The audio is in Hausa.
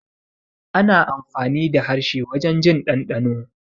Ana amfani da harshe wurin jin ɗanɗano